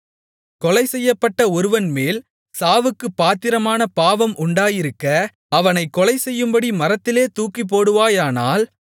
கொலைசெய்யப்பட ஒருவன்மேல் சாவுக்குப் பாத்திரமான பாவம் உண்டாயிருக்க அவனைக் கொலைசெய்யும்படி மரத்திலே தூக்கிப்போடுவாயானால்